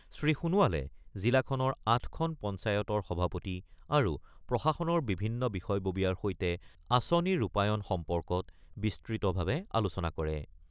শ্ৰীসোণোৱালে জিলাখনৰ ৮খন পঞ্চায়তৰ সভাপতি আৰু প্ৰশাসনৰ বিভিন্ন বিষয়ববীয়াৰ সৈতে আঁচনি ৰূপায়ণ সম্পৰ্কত বিস্তৃতভাৱে আলোচনা কৰে।